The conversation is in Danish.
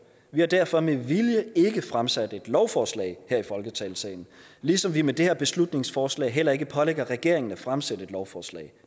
vi har derfor med vilje ikke fremsat et lovforslag her i folketingssalen ligesom vi med det her beslutningsforslag heller ikke pålægger regeringen at fremsætte et lovforslag